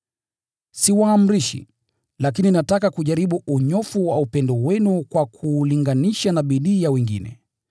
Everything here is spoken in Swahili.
Siwaamrishi, lakini nataka kujaribu unyofu wa upendo wenu kwa kuulinganisha na bidii ya wengine.